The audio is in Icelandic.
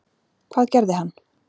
Hvað gerði hann?